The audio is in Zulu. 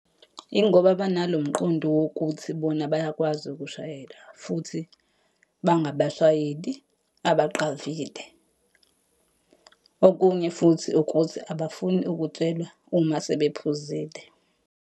Yingoba banalo mqondo wokuthi bona bayakwazi ukushayela, futhi bangabashayeli abaqavile. Okunye futhi ukuthi abafuni ukutshelwa uma sebephuzile.